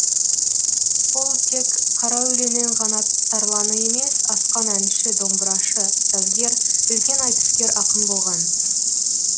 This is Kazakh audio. ол тек қара өлеңнің ғана тарланы емес асқан әнші домбырашы сазгер үлкен айтыскер ақын болған